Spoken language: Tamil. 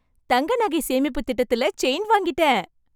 தங்க நகை சேமிப்பு திட்டத்தில செயின் வாங்கிட்டேன்!